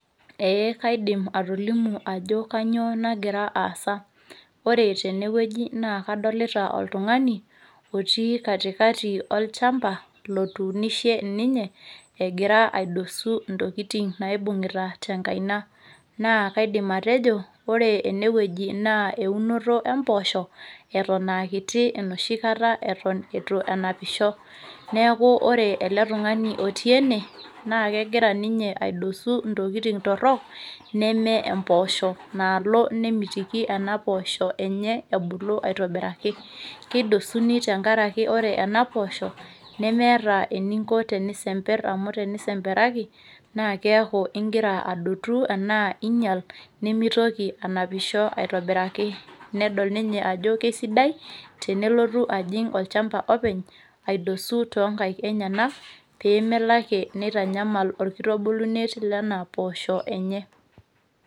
ee kaidim atolimu ajo kainyio nagira aasa, ore tene wueji naa kadolita oltungani, otii katikati olchampa lotuunishe ninye egira aidosu intokitin naibung'ita tenkaina, naa kaidim atejo ore ene wueji naa eunoto empoosho, eton aakiti enoshi kata eton eitu enapisho. neeku ore ele tungani oti ene naa kegira ninye aidosu intokitin torok, neme mpoosho naalo nemitiki kunapoosho ebulu. keidosuni tenkaraki ore ena poosho nemeeta, eninko tenisemper amu tenisemperaki naa keeku igira adotu ana ing'ial nimitoki anapisho aitobiraki. nedol ninye ajo kisidai tenelotu olchampa openy aidosu toonkik enyenak pee meitanyamal orkitubulunet loo mpoosho enye.